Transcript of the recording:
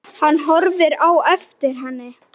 Hann horfir á eftir henni.